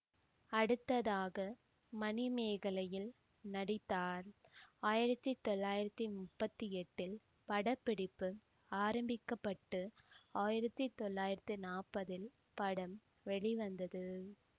அடுத்ததாக மணிமேகலையில் நடித்தார் ஆயிரத்தி தொள்ளாயிரத்தி முப்பத்தி எட்டு படப்பிடிப்பு ஆரம்பிக்கப்பட்டு ஆயிரத்தி தொள்ளாயிரத்தி நாப்பதில் படம் வெளிவந்தது